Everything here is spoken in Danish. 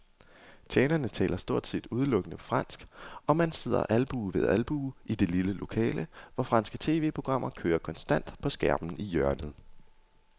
Tjenerne taler stort set udelukkende fransk, og man sidder albue ved albue i det lille lokale, hvor franske tv-programmer kører konstant på skærmen i hjørnet.